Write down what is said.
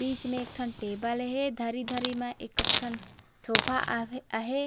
बीच में एक ठन टेबल हे धरी-धरी म एक-एक ठन सोफा आवे अहे।